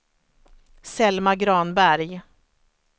Selma Granberg